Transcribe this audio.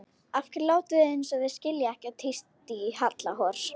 Af hverju látið þið eins og þið skiljið ekkert tísti í Halla hor.